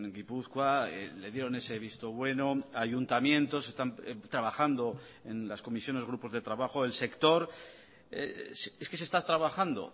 gipuzkoa le dieron ese visto bueno ayuntamientos están trabajando en las comisiones grupos de trabajo el sector es que se está trabajando